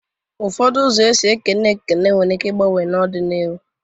Ụfọdụ ụzọ esi na-ekene ekene nwere ike igbanwe n'ọ dị n'iru.